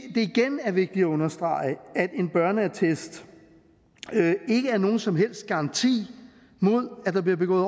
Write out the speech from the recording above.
igen er vigtigt at understrege at en børneattest ikke er nogen som helst garanti mod at der bliver begået